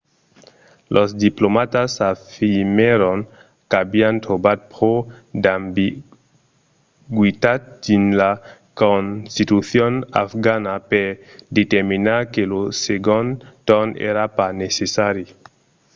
los diplomatas afirmèron qu'avián trobat pro d'ambigüitat dins la constitucion afgana per determinar que lo segond torn èra pas necessari